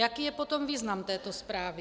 Jaký je potom význam této zprávy?